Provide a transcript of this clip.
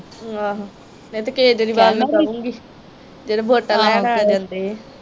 ਆਹੋ ਮੈਂ ਤਾਹ ਕੇਜਰੀਵਾਲ ਨੂੰ ਕਹਾਂਗੀ ਜਦੋ ਵੋਟਾਂ ਲੈਣ ਆ ਜਾਂਦੇ ਆ।